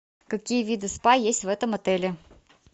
какие виды спа есть в этом отеле